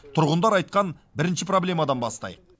тұрғындар айтқан бірінші проблемадан бастайық